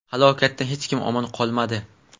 Halokatdan hech kim omon qolmadi.